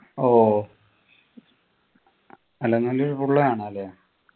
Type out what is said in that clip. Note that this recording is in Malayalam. ഓ അല്ല full കാണാ ല്ലേ